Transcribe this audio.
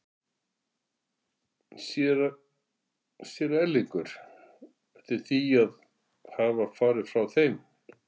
Sér Erlingur eftir því að hafa farið frá þeim?